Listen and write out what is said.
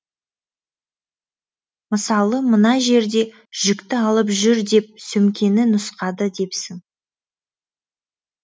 мысалы мына жерде жүкті алып жүр деп сөмкені нұсқады депсің